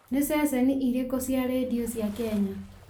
nĩ ceceni irĩkũ cia rĩndiũ cia kenya